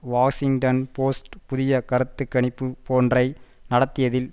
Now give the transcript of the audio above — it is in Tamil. வாஷிங்டன் போஸ்ட் புதிய கருத்து கணிப்பொன்றை நடத்தியதில்